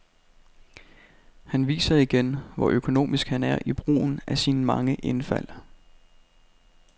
Han viser igen, hvor økonomisk han er i brugen af sine mange indfald.